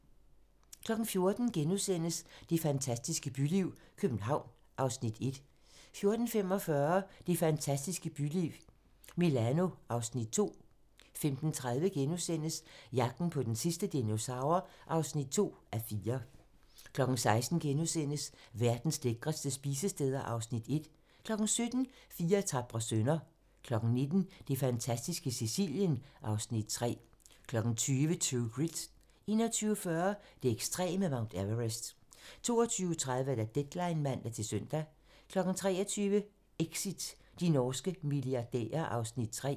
14:00: Det fantastiske byliv - København (Afs. 1)* 14:45: Det fantastiske byliv - Milano (Afs. 2) 15:30: Jagten på den sidste dinosaur (2:4)* 16:00: Verdens lækreste spisesteder (Afs. 1)* 17:00: Fire tapre sønner 19:00: Det fantastiske Sicilien (Afs. 3) 20:00: True Grit 21:40: Det ekstreme Mount Everest 22:30: Deadline (man-søn) 23:00: Exit - de norske milliardærer (Afs. 3)